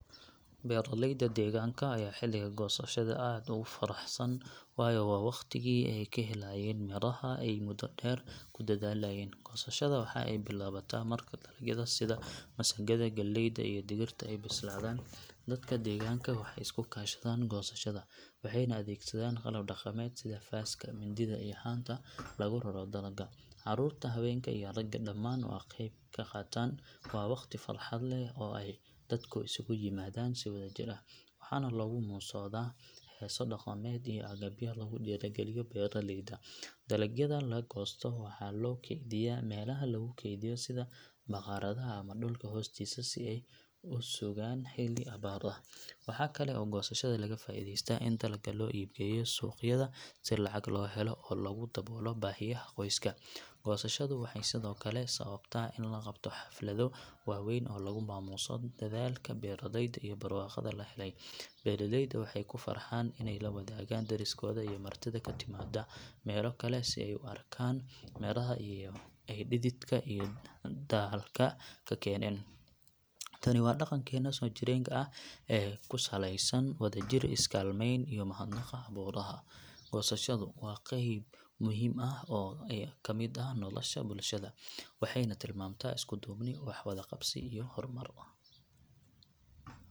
Beeralayda deegaanka ayaa xilliga goosashada aad ugu faraxsan waayo waa waqtigii ay ka helayaan miraha ay muddo dheer ku dadaalayeen. Goosashada waxa ay bilaabataa marka dalagyada sida masagada, galleyda, iyo digirta ay bislaadaan. Dadka deegaanka waxay isu kaashadaan goosashada, waxayna adeegsadaan qalab dhaqameed sida faaska, mindida iyo haanta lagu raro dalagga. Carruurta, haweenka, iyo ragga dhammaan way ka qayb qaataan. Waa waqti farxad leh oo ay dadku isugu yimaadaan si wadajir ah, waxaana lagu muusoodaa heeso dhaqameed iyo gabayo lagu dhiirrigeliyo beeraleyda. Dalagyada la goosto waxaa loo kaydiyaa meelaha lagu keydiyo sida bakhaarada ama dhulka hoostiisa si ay u sugaan xilli abaar ah. Waxa kale oo goosashada laga faa’iidaystaa in dalagga loo iib geeyo suuqyada si lacag loo helo oo lagu daboolo baahiyaha qoyska. Goosashadu waxay sidoo kale sababtaa in la qabto xaflado waaweyn oo lagu maamuuso dadaalka beeraleyda iyo barwaaqada la helay. Beeraleyda waxay ku farxaan inay la wadaagaan deriskooda iyo martida ka timaada meelo kale si ay u arkaan midhaha ay dhididka iyo daalka ka keeneen. Tani waa dhaqankeena soojireenka ah ee ku saleysan wadajir, is-kaalmeyn, iyo mahadnaqa abuuraha. Goosashadu waa qayb muhiim ah oo ka mid ah nolosha bulshada, waxayna tilmaantaa isku-duubni, wax-wada-qabsi, iyo horumar.